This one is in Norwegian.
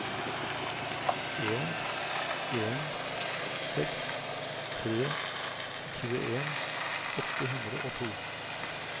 en en seks tre tjueen åtte hundre og to